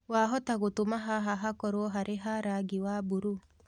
wahota gutũma haha hakorwo harĩ ha rangĩ wa burũũ